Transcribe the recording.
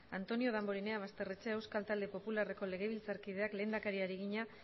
antonio damborenea basterrechea euskal talde popularreko legebiltzarkideak lehendakariari egina